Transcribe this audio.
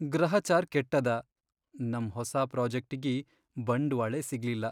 ಗ್ರಹಚಾರ್ ಕೆಟ್ಟದ, ನಮ್ ಹೊಸಾ ಪ್ರೋಜೆಕ್ಟಿಗಿ ಬಂಡ್ವಾಳೇ ಸಿಗ್ಲಿಲ್ಲ.